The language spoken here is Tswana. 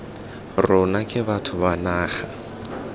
rona ke batho ba naga